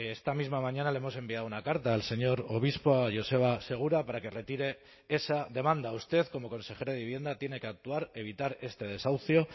esta misma mañana le hemos enviado una carta al señor obispo a joseba segura para que retire esa demanda usted como consejero de vivienda tiene que actuar evitar este desahucio